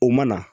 O mana